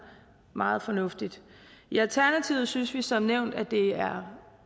meget fornuftigt i alternativet synes vi som nævnt at det er